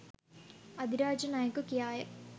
අධිරාජ නයකු කියාය